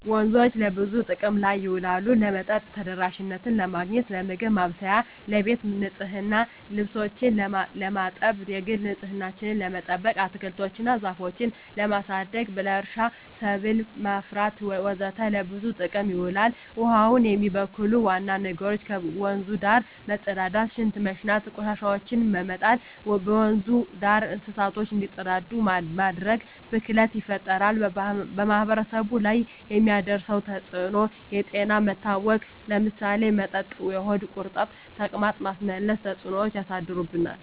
ወንዞች ለብዙ ጥቅም ላይ ይውላሉ የመጠጥ ተደራሽነትን ለማግኘት, ለምግብ ማብሰያ , ለቤት ንፅህና , ልብሶችን ለማጠብ, የግል ንፅህናችን ለመጠበቅ, አትክልቶች እና ዛፎችን ለማሳደግ, ለእርሻ ሰብል ለማፍራት ወዘተ ለብዙ ጥቅም ይውላል። ውሀውን የሚበክሉ ዋና ነገሮች ከወንዙ ዳር መፀዳዳት , ሽንት በመሽናት, ቆሻሻዎችን በመጣል, ወንዙ ዳር እንስሳቶች እንዲፀዳዱ በማድረግ ብክለት ይፈጠራል። በማህበረሰቡ ላይ የሚያደርሰው ተፅዕኖ ለጤና መታወክ ለምሳሌ በመጠጥ የሆድ ቁርጠት , ተቅማጥ, ማስመለስ ተፅዕኖች ያሳድርብናል።